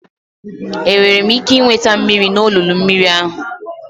Enwere m ike ị nweta mmiri n'olulu mmiri ahụ?